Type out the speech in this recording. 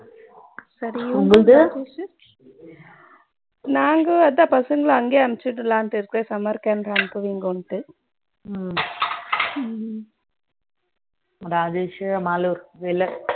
உங்களுது நாங்க அதுதான் பசங்கள அங்கையே அனுபிசளம்நு இருக்கோம் summer camp கு ராஜேஷ் மாலூர் வெளியே